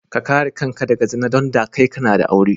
Ka kare kanka daga zina dunda kai kana da aure.